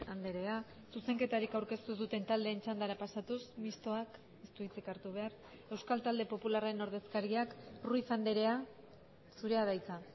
andrea zuzenketarik aurkeztu ez duten taldeen txandara pasatuz mistoak ez du hitzik hartu behar euskal talde popularraren ordezkariak ruiz andrea zurea da hitza